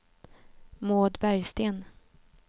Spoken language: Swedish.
Maud Bergsten